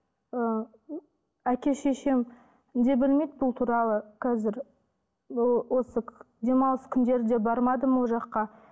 ы әке шешем де білмейді бұл туралы қазір осы демалыс күндер де бармадым ол жаққа